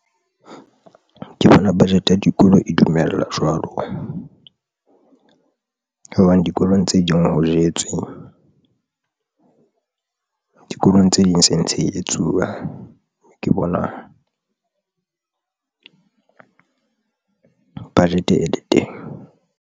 Ke bona budget ya dikolo e dumella jwalo hobane dikolong tse ding ho jetswe, dikolong tse ding se ntse e etsuwa ke bona budget e le teng.